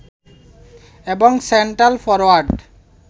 এবং centre forward